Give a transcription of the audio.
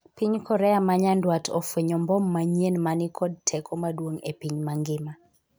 piny Korea ma nyandwat ofwenyo mbom manyien mani kod teko maduong' e piny mangima